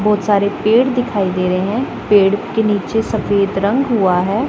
बहोत सारे पेड़ दिखाई दे रहे हैं पेड़ के नीचे सफेद रंग हुआ है।